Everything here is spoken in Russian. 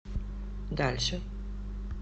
дальше